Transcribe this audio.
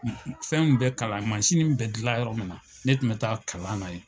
Fɛnw bɛ kalan bɛ jilan yɔrɔ min na, ne tun bɛ taa kalan na yen.